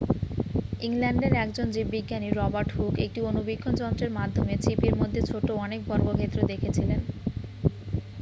ইংল্যান্ডের একজন জীববিজ্ঞানী রবার্ট হুক একটি অণুবীক্ষণ যন্ত্রের মাধ্যমে ছিপির মধ্যে ছোট অনেক বর্গক্ষেত্র দেখেছিলেন